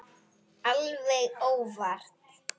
Alveg óvart.